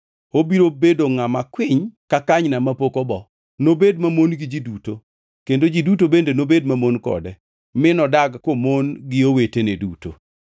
Obiro bedo ngʼama kwiny ka kanyna mapok obo; nobed mamon gi ji duto, kendo ji duto bende nobed mamon kode, mi nodag komon gi owetene duto.”